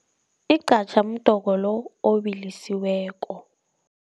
Igqatjha mdoko lo obilisiweko.